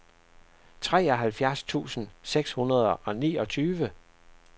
treoghalvfjerds tusind seks hundrede og niogtyve